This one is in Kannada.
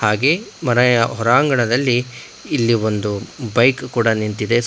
ಹಾಗೆ ಮನೆಯ ಹೊರಾಂಗಣದಲ್ಲಿ ಇಲ್ಲಿ ಒಂದು ಬೈಕ್ ಕೂಡ ನಿಂತಿದೆ ಸ --